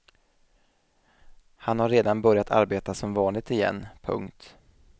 Han har redan börjat arbeta som vanligt igen. punkt